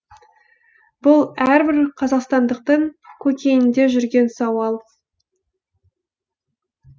бұл әрбір қазақстандықтың көкейінде жүрген сауал